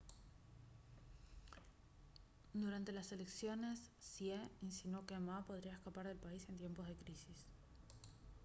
durante las elecciones hsieh insinuó que ma podría escapar del país en tiempos de crisis